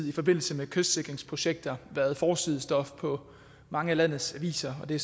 i forbindelse med kystsikringsprojekter været forsidestof på mange af landets aviser og det